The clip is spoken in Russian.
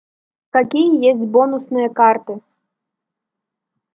какие есть бонусные карты